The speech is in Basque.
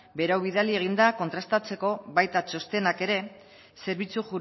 berau bidali egin da kontrastatzeko baita txostenak ere zerbitzu